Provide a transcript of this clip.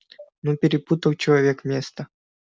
ну перепутал человек место